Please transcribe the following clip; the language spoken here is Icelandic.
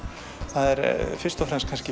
það er fyrst og fremst